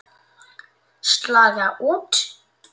Slaga út.